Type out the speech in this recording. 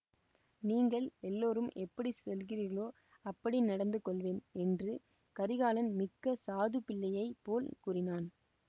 நீங்கள் எல்லோரும் எப்படி சொல்கிறீர்களோ அப்படி நடந்து கொள்வேன் என்று கரிகாலன் மிக்க சாது பிள்ளையை போல் கூறினான்